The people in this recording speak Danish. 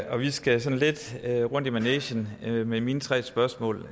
og vi skal sådan lidt rundt i manegen med mine tre spørgsmål